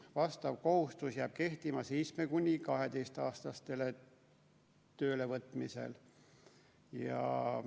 Vastav kohustus jääb kehtima 7–12-aastaste töölevõtmisel.